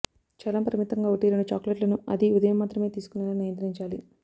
చాలా పరిమితంగా ఒకటి రెండు చాక్లెట్లను అదీ ఉదయం మాత్రమే తీసుకునేలా నియంత్రించాలి